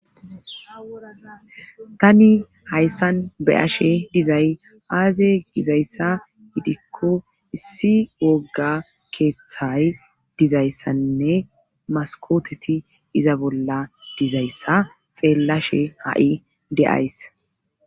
tani hayssan beyashe dizay aaze gizayssa gidikko issi wogga keeththay dizayssanne maskooteti iza bolla dizayssa xeellashe ha7i de7ays